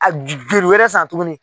A joli wɛrɛ san tuguni